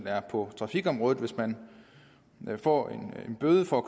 er på trafikområdet hvis man får en bøde for at